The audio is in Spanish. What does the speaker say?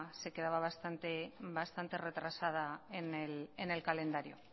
bastante retrasada en el calendario